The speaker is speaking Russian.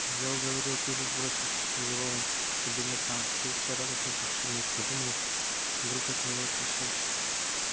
я уговорил пивза сбросить его над кабинетом филча радостно сообщил ник подумал вдруг это его отвлечёт